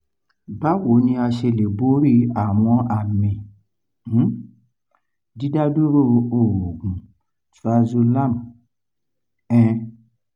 báwo ni a ṣe lè borí àwọn àmì um didaduro oogun triazolam um